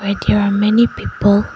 There are many people.